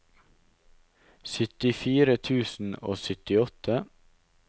syttifire tusen og syttiåtte